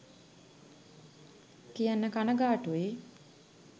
කියන්න කණගාටුයි